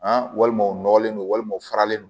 A walima u nɔgɔlen don walima u faralen no